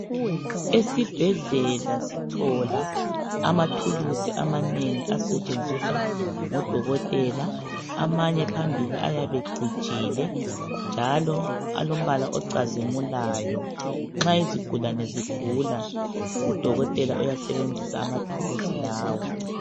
Esibhedlela sithola amathulusi amanengi asetshenziswa ngodokotela, amanye phambili ayabecijile njalo alombala ocazimulayo. Nxa izigilane zigula udokotela uyasebenzisa amathuluzi lawa.